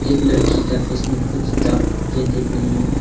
एक लड़की के फेस में कुछ ढक के देख रही है।